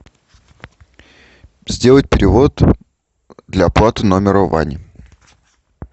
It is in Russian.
сделать перевод для оплаты номера вани